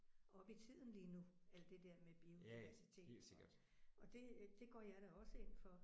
Oppe i tiden lige nu alt det der med biodiversitet og og det det går jeg da også ind for